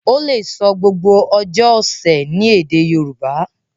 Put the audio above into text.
o le so gbogbo ojó ọsẹ ní èdè Yorùbá.